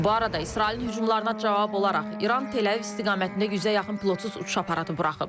Bu arada İsrailin hücumlarına cavab olaraq İran Tel-Əviv istiqamətində yüzə yaxın pilotsuz uçuş aparatı buraxıb.